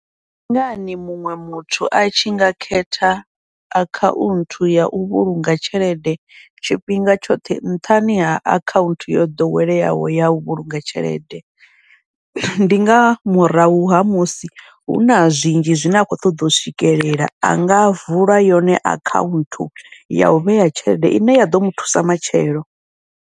Ndi ngani muṅwe muthu a tshi nga khetha akhaunthu yau vhulunga tshelede tshifhinga tshoṱhe nṱhani ha akhaunthu yo ḓoweleaho yau vhulunga tshelede, ndi nga murahu ha musi huna zwinzhi zwine a khou ṱoḓa u swikelela, anga vula yone akhaunthu yau vhea tshelede ine ya ḓo muthusa matshelo.